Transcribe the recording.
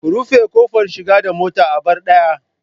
Ku rufe kofar shiga da mota, a bar daya